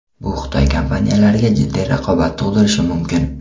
Bu Xitoy kompaniyalariga jiddiy raqobat tug‘dirishi mumkin.